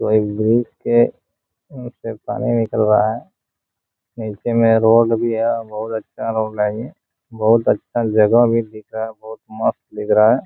कोई ब्रिज के से पानी निकल रहा है नीचे में रोड भी है बहुत अच्छा रोड है ये बहुत अच्छा जगह भी दिख रहा है बहुत मस्त दिख रहा है।